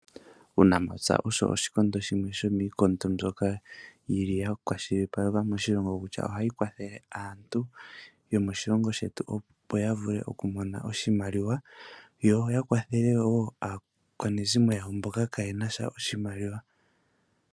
Uunamapya osho oshikondo shimwe shomiikondo mbyoka yili yakwashilipalekwa moshilongo kutya ohayi kwathele aantu yomoshilongo shetu opo yavule okumona oshimaliwa yo yakwathele aakwanezimo yawo mboka kaaye na sha oshimaliwa.